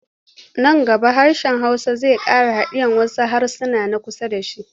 Nan gaba hsrshen Hausa zai ƙara hadiye wasu harasan na kusa da shi.